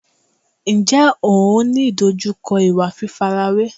Ǹjẹ́ ò ń ní ìdojúkọ ìwà fífarawé?